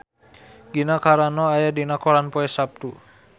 Gina Carano aya dina koran poe Saptu